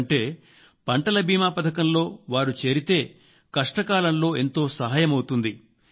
ఎందుకంటేపంటల బీమా పథకంలో వారు చేరితే కష్టకాలంలో ఎంతో సాయం అవుతుంది